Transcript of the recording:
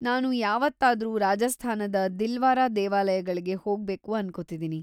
ನಾನು ಯಾವತ್ತಾದ್ರೂ ರಾಜಸ್ಥಾನದ ದಿಲ್ವಾರಾ ದೇವಾಲಯಗಳ್ಗೆ ಹೋಗ್ಬೇಕು ಅನ್ಕೊತಿದೀನಿ.